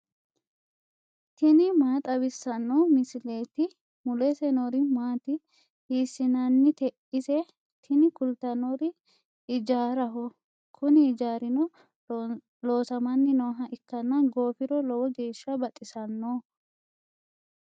tini maa xawissanno misileeti ? mulese noori maati ? hiissinannite ise ? tini kultannori ijaaraho. kuni ijaarino loosamanni nooha ikkanna goofiro lowo geeshsha baxisanno.